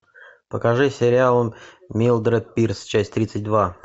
покажи сериал милдред пирс часть тридцать два